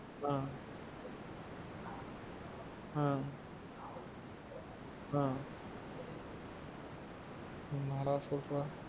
ஆஹ் ஆஹ் ஆஹ் என்ன டா சொல்ற?